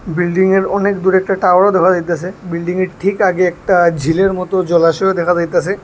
বিল্ডিংয়ের অনেক দূরে একটা টাওয়ারও দেখা যাইতাসে বিল্ডিংয়ের ঠিক আগে একটা ঝিলের মতো জলাশয়ও দেখা যাইতাসে।